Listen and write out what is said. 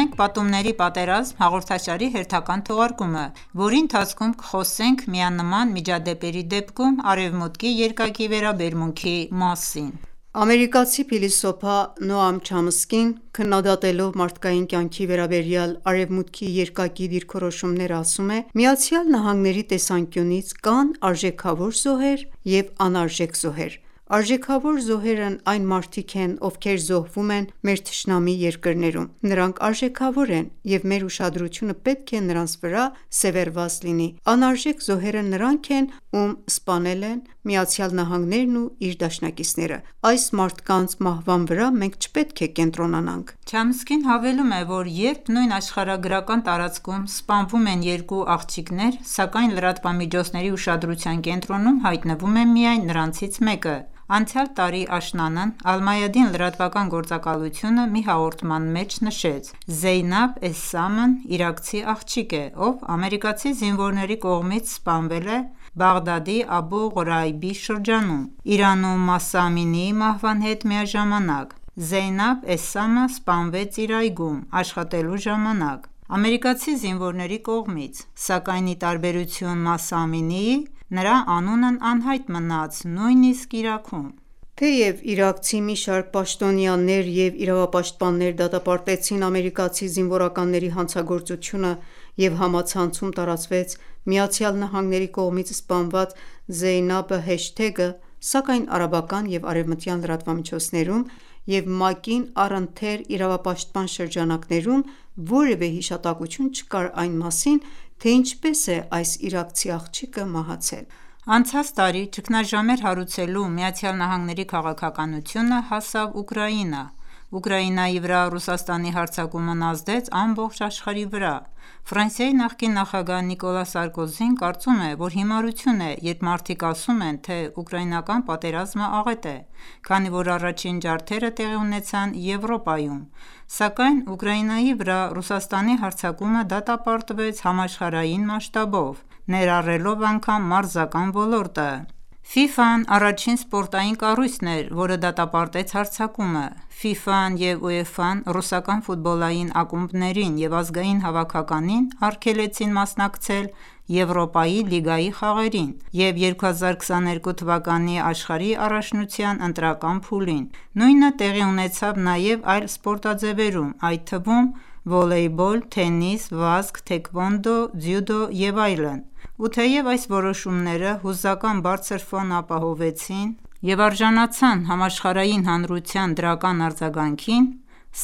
ենք «Պատումների պատերազմ» հաղորդաշարի հերթական թողարկումը, որի ընթացքում կխոսենք միանման միջադեպերի դեպքում Արևմուտքի երկակի վերաբերմունքի մասին: Ամերիկացի փիլիսոփա Նոամ Չամսկին, քննադատելով մարդկային կյանքի վերաբերյալ Արևմուտքի երկակի դիրքորոշումները ասում է. «ԱՄՆ-ի տեսանկյաունից կան արժեքավոր զոհեր և անարժեք զոհեր:Արժեքավոր զոհերն այն մարդիկ են, ովքեր զոհվում են մեր թշնամի երկրներում: Նրանք արժեքավոր են և մեր ուշադրությունը պետք է նրանց վրա սևեռված լինի: Անարժեք զոհերը նրանք են, ում սպանել են ԱՄՆ-ն ու իր դաշնակիցները: Այս մարդկանց մահվան վրա մենք չպետք է կենտրոնանանք»: Չամսկին հավելում է, որ երբ նույն աշխարհագրական տարածքում սպանվում են երկու աղջիկներ, սակայն լրատվամիջոցների ուշադրության կենտրոնում հայտնվում է միայն նրանցից մեկը: Անցյալ տարի աշնանն «Ալ-Մայադին» լրատվական գործակալությունը մի հաղորդման մեջ նշեց. «Զեյնաբ Էսսամն իրաքցի աղջիկ է, ով ամերիկացի զինվորների կողմից սպանվել է Բաղդադի Աբու Ղրայբի շրջանում, Իրանում Մահսա Ամինիի մահվան հետ միաժակամանակ: Զեյնաբ Էսսամը սպանվեց իր այգում աշխատելու ժամանակ, ամերիկացի զինվորների կողմից: Սակայն ի տարբերություն Մահսա Ամինիի, նրա անունն անհայտ մնաց նույնիսկ Իրաքում»: Թեև իրաքցի մի շարք պաշտոնյաներ և իրավապաշտպաններ դատապարտեցին ամերիկացի զինվորականների հանցագործությունը և համացանցում տարածվեց «ԱՄՆ-ի կողմից սպանված Զեյնաբը» հեշթեգը, սակայն արաբական և արևմտյան լրատվամիջոցներում և ՄԱԿ-ին առընթեր իրավապաշտպան շրջանակներում որևէ հիշատակություն չկար այն մասին, թե ինչպես է այս իրաքցի աղջիկը մահացել»։ Անցած տարի ճգնաժամեր հարուցելու ԱՄՆ-ի քաղաքականությունը հասավ Ուկրաինա: Ուկրաինայի վրա Ռուսաստանի հարձակումն ազդեց ամբողջ աշխարհի վրա: Ֆրանսիայի նախկին նախագահ Նիկոլա Սարկոզին կարծում է, որ հիմարություն է, երբ մարդիկ ասում են, թե ուկրաինական պատերազմը աղետ է։ Քանի որ առաջին ջարդերը տեղի ունեցան Եվրոպայում: Սակայն Ուկրաինայի վրա Ռուսաստանի հարձակումը դատապարտվեց համաշխարհային մասշտաբով, ներառելով անգամ մարզական ոլորտը: ՖԻՖԱ-ն առաջին սպորտային կառույցն էր որը դատապարտեց հարձակումը: ՖԻՖԱ-ն և ՈւԵՖԱ-ն ռուսական ֆուտբոլային ակումբներին և ազգային հավաքականին արգելեցին մասնակցել Եվրոպայի լիգայի խաղերին և 2022 թվականի աշխարհի առաջնության ընտրական փուլին։ Նույնը տեղի ունեցավ նաև այլ սպորտաձևերում, այդ թվում՝ վոլեյբոլ, թենիս, վազք, թեքվոնդո, ձյուդո և այլն: Ու թեև այս որոշումները հուզական բարձր ֆոն ապահովեցին և արժանացան համաշխարհային հանրության դրական արձագանքին,